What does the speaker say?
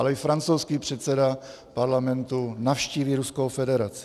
Ale i francouzský předseda Parlamentu navštíví Ruskou federaci.